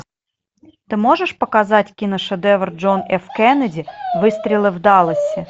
ты можешь показать киношедевр джон ф кеннеди выстрелы в далласе